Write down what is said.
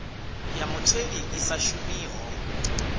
ya mutheli i sa shumiho